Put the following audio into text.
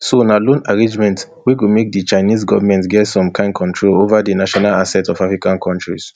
so na loan arrangement wey go make di chinese goment get some kain control over di national assets of african kontris